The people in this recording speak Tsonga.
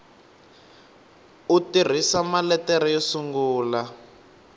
u tirhisa maletere yo sungula